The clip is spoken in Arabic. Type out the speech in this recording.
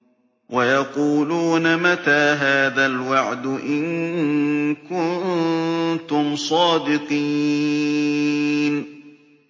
وَيَقُولُونَ مَتَىٰ هَٰذَا الْوَعْدُ إِن كُنتُمْ صَادِقِينَ